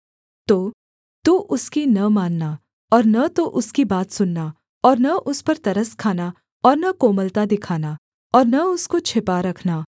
तो तू उसकी न मानना और न तो उसकी बात सुनना और न उस पर तरस खाना और न कोमलता दिखाना और न उसको छिपा रखना